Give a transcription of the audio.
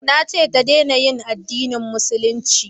Na ce ta dena yin addinin musulunci